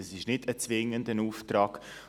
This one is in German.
Das ist kein zwingender Auftrag.